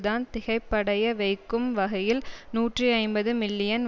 தான் திகைப்படைய வைக்கும் வகையில் நூற்றி ஐம்பது மில்லியன்